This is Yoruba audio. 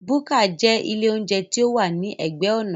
Búkà jẹ́ ilé óúnjẹ tí ó wà ní ẹ̀gbẹ́ ọ̀nà